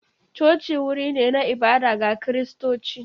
Coci wuri ne na ibada ga Kiristoci.